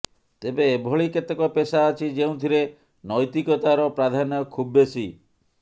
ତେବେ ଏଭଳି କେତେକ ପେସା ଅଛି ଯେଉଁଥିରେ ନୈତିକତାର ପ୍ରାଧାନ୍ୟ ଖୁବ୍ବେଶୀ